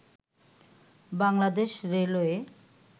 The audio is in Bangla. বাংলাদেশ রেলওয়ে